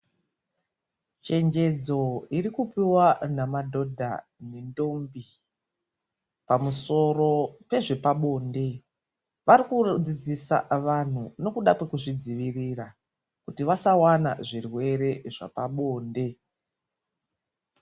Chenjedzo irikupuwa namadhodha nendombi pamusoro pezve pabonde. Varikudzidzisa vanhu nokuda kwekuzvidzivirira kuti vasawane zvirwere zvepabonde.